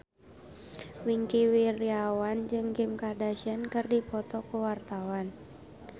Wingky Wiryawan jeung Kim Kardashian keur dipoto ku wartawan